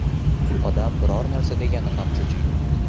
Odam biror narsa degani ham cho‘chiydi”.